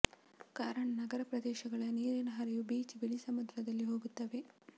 ಕಾರಣ ನಗರ ಪ್ರದೇಶಗಳ ನೀರಿನ ಹರಿವು ಬೀಚ್ ಬಳಿ ಸಮುದ್ರದಲ್ಲಿ ಹೋಗುತ್ತವೆ